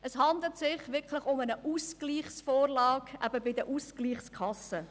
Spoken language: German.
Es handelt sich um eine Ausgleichsvorlage bei den Ausgleichskassen.